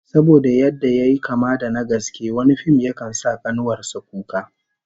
Saboda yadda yayi kama da na gaske, wani fim yakan sa kanuwar sa kuka